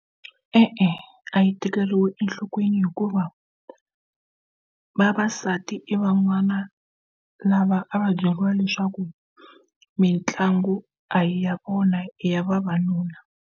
E-e a yi tekeriwi enhlokweni hikuva vavasati i van'wana lava a va byeriwa leswaku mitlangu a yi ya vona ya vavanuna.